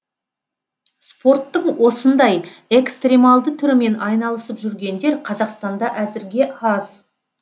спорттың осындай экстремалды түрімен айналысып жүргендер қазақстанда әзірге аз